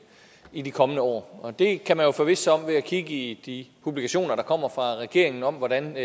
i de kommende år og det kan man jo forvisse sig om ved at kigge i de publikationer der kommer fra regeringen om hvordan